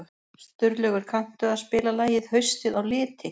Sturlaugur, kanntu að spila lagið „Haustið á liti“?